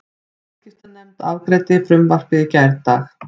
Viðskiptanefnd afgreiddi frumvarpið í gærdag